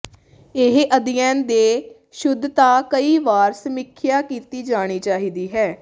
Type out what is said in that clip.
ਇਹ ਅਧਿਐਨ ਦੇ ਸ਼ੁਧਤਾ ਕਈ ਵਾਰ ਸਮੀਖਿਆ ਕੀਤੀ ਜਾਣੀ ਚਾਹੀਦੀ ਹੈ